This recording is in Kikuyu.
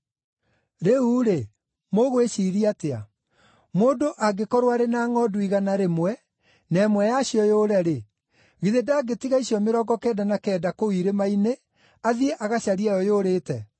“Rĩu-rĩ, mũgwĩciiria atĩa? Mũndũ angĩkorwo arĩ na ngʼondu igana rĩmwe, na ĩmwe yacio yũre-rĩ, githĩ ndangĩtiga icio mĩrongo kenda na kenda kũu irĩma-inĩ, athiĩ agacarie ĩyo yũrĩte?